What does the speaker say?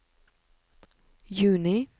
juni